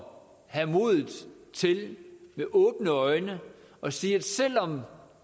have modet til med åbne øjne at sige at selv om